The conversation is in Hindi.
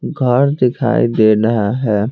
घर दिखाई दे रहा है।